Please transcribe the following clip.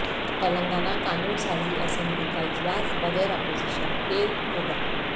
تلنگانہ قانون سازی اسمبلی کا اجلاس بغیر اپوزیشن کے ہوگا